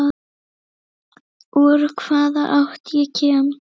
Úr hvaða átt ég kem.